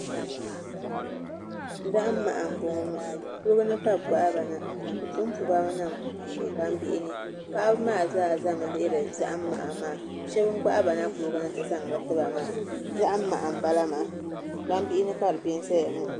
Zaham maha n bɔŋɔ kuligi ni ka bi gbahaba na bi punpuba mi niŋ gbambihi ni paɣaba maa zaa ʒɛmi lihiri zaham maha maa shab n gbahaba na kuligi ni ti zaŋli tiba maa zaham maha n bala maa gbambihi ni ka di bɛ n ʒɛya ŋɔ